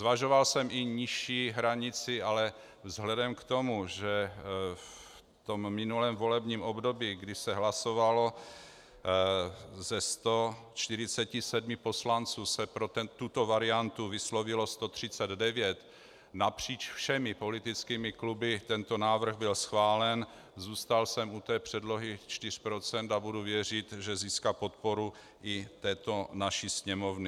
Zvažoval jsem i nižší hranici, ale vzhledem k tomu, že v tom minulém volebním období, kdy se hlasovalo, ze 147 poslanců se pro tuto variantu vyslovilo 139, napříč všemi politickými kluby tento návrh byl schválen, zůstal jsem u té předlohy 4 % a budu věřit, že získá podporu i této naší Sněmovny.